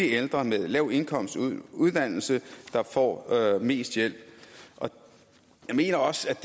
ældre med lav indkomst og uddannelse der får mest hjælp jeg mener også